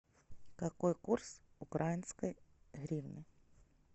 какой курс украинской гривны